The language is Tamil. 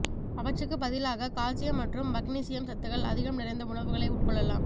அவற்றுக்குப் பதிலாக கால்சியம் மற்றும் மக்னீசியம் சத்துக்கள் அதிகம் நிறைந்த உணவுகளை உட்கொள்ளலாம்